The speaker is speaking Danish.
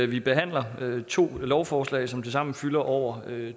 vi behandler nemlig to lovforslag som tilsammen fylder over